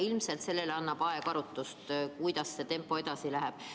Ilmselt annab aeg arutust, kuidas see tempo edasi läheb.